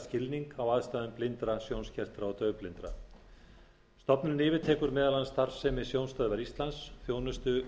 skilning á aðstæðum blindra sjónskertra og daufblindra stofnunin yfirtekur meðal annars starfsemi sjónstöðvar íslands þjónustu